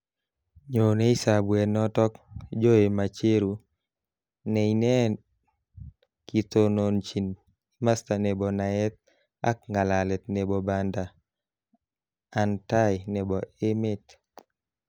Nyonei sabwet notok Joe Macheru ne ine kotononjin imasta nebo naet ak nga'lalet nebo banda an tai nebo emet.